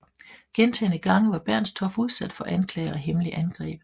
Gentagne gange var Bernstorff udsat for anklager og hemmelige angreb